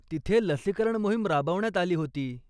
तिथे लसीकरण मोहीम राबवण्यात आली होती.